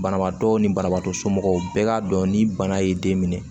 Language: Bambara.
Banabaatɔ ni banabaatɔ somɔgɔw bɛɛ k'a dɔn ni bana y'i den minɛ